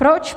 Proč?